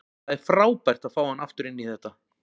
Það er frábært að fá hann aftur inn í þetta.